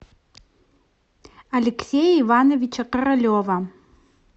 алексея ивановича королева